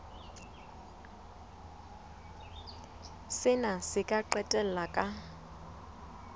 sena se ka qetella ka